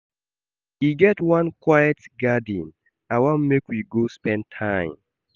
E get one quiet garden I wan make we go spend time.